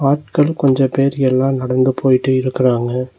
மக்கள் கொஞ்சோ பேரு எல்லா நடந்து போயிட்டு இருக்கறாங்க.